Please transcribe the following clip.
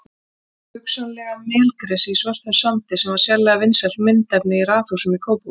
Hugsanlega melgresi í svörtum sandi sem var sérlega vinsælt myndefni í raðhúsum í Kópavogi.